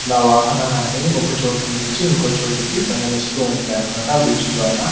ఇలా వాహనాలనేవి ఒక చోటు నుంచి ఇంకో చోటుకి ప్రయాణిస్తూ ఉంటాయన్నమాట. ఆహ్ బ్రిడ్జి ద్వారా--